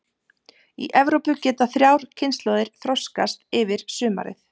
Í Evrópu geta þrjár kynslóðir þroskast yfir sumarið.